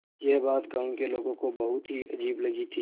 यह बात गाँव के लोगों को बहुत ही अजीब लगी थी